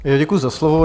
Děkuji za slovo.